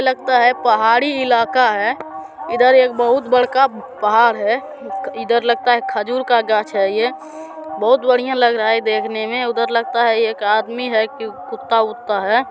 लगता है पहाड़ी इलाका है इधर एक बहुत बढका पहाड़ है इधर लगता है खजूर का गाच्छ है ये बहुत बढ़िया लग रहा है देखने मै उधर लगता है एक आदमी है की कुत्ता-वुत्ता है।